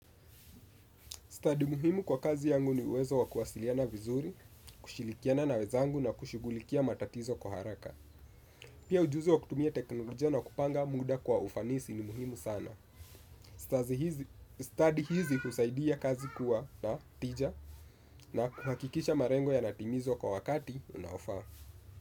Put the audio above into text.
Stadi muhimu kwa kazi yangu ni uwezo wa kuwasiliana vizuri, kushirikiana na wenzangu na kushughulikia matatizo kwa haraka. Pia ujuzi wa kutumia teknolojia na kupanga muda kwa ufanisi ni muhimu sana. Stadi hizi husaidia kazi kuwa na tija na kuhakikisha malengo yanatimizwa kwa wakati unaofaa.